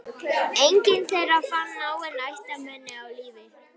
Enginn þeirra fann náin ættmenni á lífi.